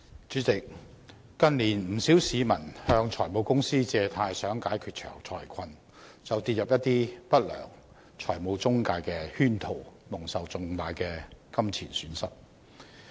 主席，近年不少市民向財務公司借貸想解決財困，但卻跌入了一些不良財務中介公司的圈套，蒙受重大金錢損失。